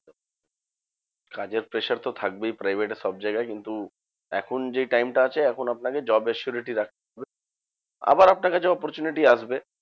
কাজের pressure তো থাকবেই private এ সবজায়গায়। কিন্তু এখন যে time টা আছে এখন আপনাকে job assurity রাখতে হবে। আবার আপনার কাছে opportunity আসবে